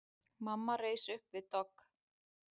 Mamma reis upp við dogg.